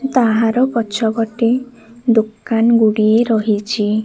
ତାହାର ପଛପଟେ ଦୋକାନ ଗୁଡ଼ିଏ ରହିଛି।